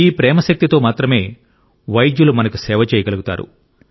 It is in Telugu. ఈ ప్రేమ శక్తితో మాత్రమే వైద్యులు మనకు సేవ చేయగలుగుతారు